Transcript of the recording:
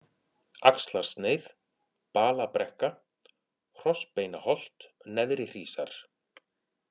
Axlarsneið, Balabrekka, Hrossbeinaholt, Neðrihrísar